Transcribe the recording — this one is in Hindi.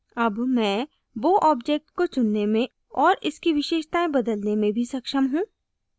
अब मैं bow object को चुनने में और इसकी विशेषतायें बदलने में भी सक्षम हूँ